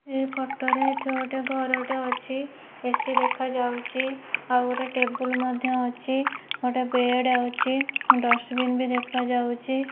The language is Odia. ଏ ଫଟୋ ରେ ଏଠି ଗୋଟେ ଘର ଟେ ଅଛି ଏ ସି ଦେଖା ଯାଉଚି ଆଉ ଗୋଟେ ଟେବୁଲ ମଧ୍ୟ ଅଛି ଗୋଟେ ବେଡ଼ ଅଛି ଡସବିନ୍ ବି ଦେଖା ଯାଉଚି।